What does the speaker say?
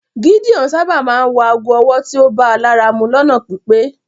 Gídeon sábà máa ńwọ àágó ọ̀wọ́ tíó bá làra mú lọ́nà pípé